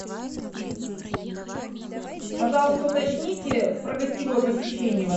пожалуйста уточните про гостевое посещение в отеле